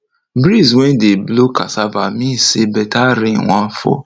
breeze wey dey blow cassava mean say better rain wan fall